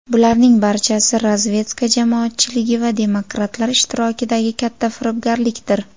Bularning barchasi razvedka jamoatchiligi va demokratlar ishtirokidagi katta firibgarlikdir.